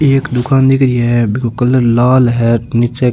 ये एक दुकान दिख रही है बिको कलर लाल है नीच एक --